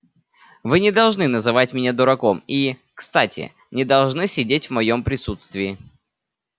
вы не должны называть меня дураком и кстати не должны сидеть в моём присутствии